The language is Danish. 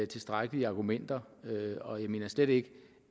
tilstrækkelige argumenter og jeg mener slet ikke